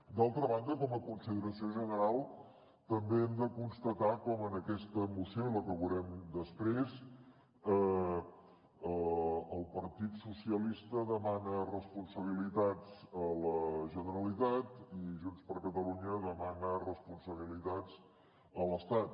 d’altra banda com a consideració general també hem de constatar com en aquesta moció i la que veurem després el partit socialista demana responsabilitats a la generalitat i junts per catalunya demana responsabilitats a l’estat